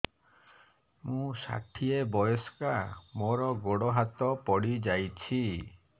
ମୁଁ ଷାଠିଏ ବୟସ୍କା ମୋର ଗୋଡ ହାତ ପଡିଯାଇଛି